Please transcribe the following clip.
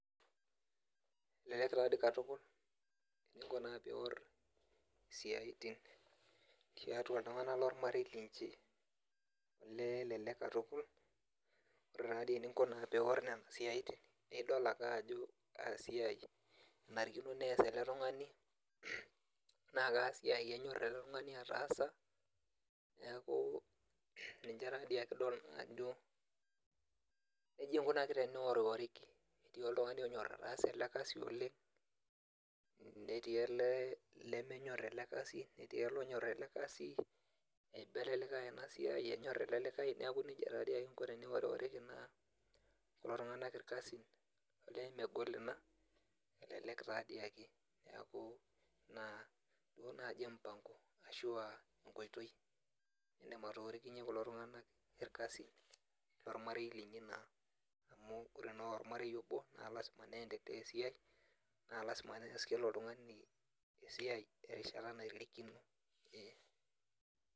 Elelek tadi katukul eninko naa pior isiaitin tiatua iltung'anak lormarei linchi, elee elelek katukul, ore tadi eninko pior nena siaitin, nidol ake ajo kasiai enarikino pes ele tung'ani, na kasiai enyor ele tung'ani ataasa, neeku ninche tadi ake idol ajo nejia ikunaki teniworiworiki, etii oltung'ani onyor ataasa ele kasi oleng, netii ele lemenyor ele kasi, netii ele onyor ele kasi, eiba ele likae enasiai, enyor ele likae. Neeku nejia tadi ake inko teniworiworiki naa kulo tung'anak irkasin, olee megol ina, elelek tadi ake. Neeku, naa inaduo naji mpango, ashua enkoitoi nidim atorikinye kulo tung'anak irkasin lormarei linyi naa, amu ore naa ormarei obo, na lasima nendelea esiai, na lasima nes kila oltung'ani esiai erishata naitirikino. Ee.